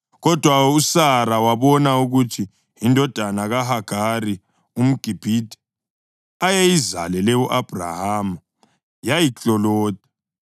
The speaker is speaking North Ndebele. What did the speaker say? Kodwa uSara wabona ukuthi indodana kaHagari umGibhithe, ayeyizalele u-Abhrahama yayikloloda,